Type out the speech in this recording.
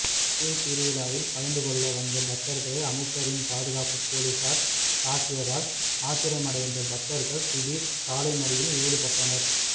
கோவில் திருவிழாவில் கலந்துக்கொள்ள வந்த பக்தர்களை அமைச்சரின் பாதுகாப்பு போலீஸார் தாக்கியதால் ஆத்திரமடைந்த பக்தர்கள் திடீர் சாலை மறியலில் ஈடுபட்டனர்